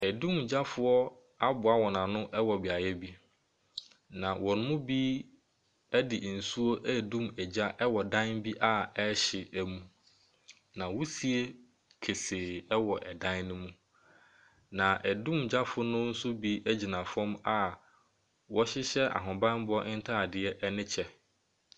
Dumgyafoɔ aboa wɔn ano wɔ beaeɛ bi, na wɔn mu bi de nsuo redum gya wɔ dan bi a ɛrehye my, na wusie kesee wɔ dan no mu, na dumgyafoɔ no nso bi gyina fam a wɔhyehyɛ ahobammɔ ntadeɛ ne kyɛ.